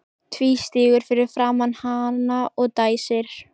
Tvístígur fyrir framan hana og dæsir.